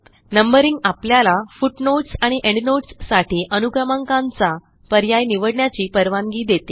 Numberingआपल्याला footnotes आणि endnotes साठी अनुक्रमांकांचा पर्याय निवडण्याची परवानगी देते